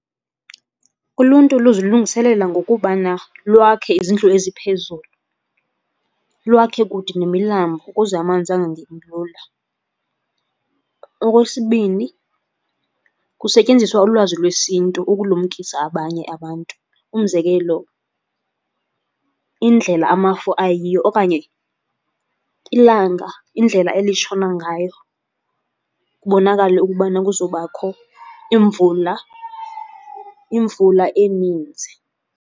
Uluntu luzilungiselela ngokubana lwakhe izindlu eziphezulu, lwakhe kude nemilambo ukuze amanzi angangeni lula. Okwesibini, kusetyenziswa ulwazi lesiNtu ukulumkisa abanye abantu. Umzekelo, indlela amafu ayiyo okanye ilanga indlela elitshona ngayo kubonakale ukubana kuzobakho imvula eninzi.